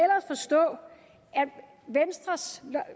venstres